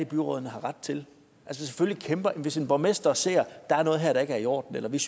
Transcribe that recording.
byrådene har ret til hvis en borgmester ser at her er der ikke er i orden eller hvis